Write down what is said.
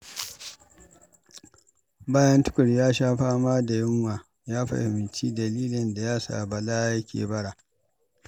Bayan Tukur ya sha fama da yunwa, ya fahimci dalilin da ya sa Bala yake bara.